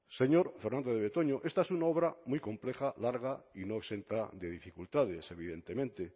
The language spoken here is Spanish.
señor fernandez de betoño esta es una obra muy compleja larga y no exenta de dificultades evidentemente